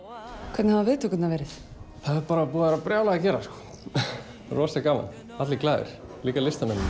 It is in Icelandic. hvernig hafa viðtökurnar verið það er bara búið að vera brjálað að gera rosalega gaman allir glaðir líka listamennirnir